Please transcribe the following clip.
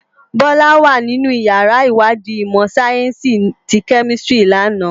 Bola wá ninú iyàrá iwàdí imò sáyènsí ti Kèmisitiri làná